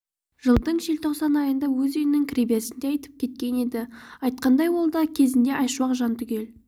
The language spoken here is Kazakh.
жылдың желтоқсан айында өз үйінің кіреберісінде атып кеткен еді айтқандай ол да кезінде айшуақ жантүгел